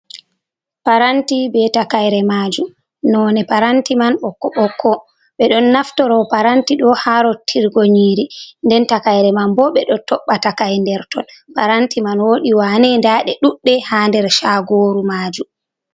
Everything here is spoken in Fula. Paranti ɓe takaire maju, none paranti man ɓokko ɓokko, ɓe ɗon naftoro paranti do ha rottirgo nyiri, nden takaire man bo ɓeɗo toɓɓa takai nɗerton ton. paranti man wodi wane, nɗa ɗe duɗɗe ha nder shagoru maju.